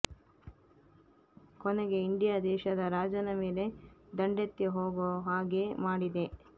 ಕೊನೆಗೆ ಇಂಡಿಯಾ ದೇಶದ ರಾಜನ ಮೇಲೆ ದಂಡೆತ್ತಿ ಹೋಗೋ ಹಾಗೆ ಮಾಡಿದೆ